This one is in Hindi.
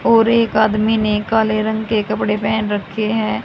और एक आदमी ने काले रंग के कपड़े पेहन रखे हैं।